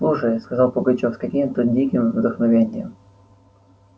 слушай сказал пугачёв с каким-то диким вдохновением